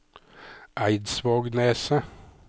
Eidsvågneset